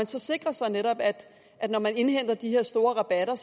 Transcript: sikret sig at de her store rabatter